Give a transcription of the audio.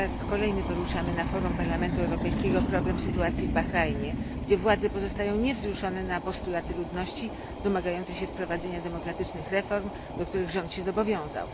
Po raz kolejny poruszamy na forum Parlamentu Europejskiego problem sytuacji w Bahrajnie, gdzie władze pozostają niewzruszone na postulaty ludności domagającej się wprowadzenia demokratycznych reform, do których rząd się zobowiązał.